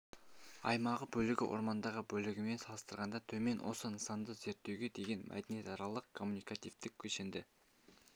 аймағы бөлігі орманды бөлігімен салыстырғанда төмен осы нысанды зерттеуге деген мәдениетаралық-коммуникативтік кешенді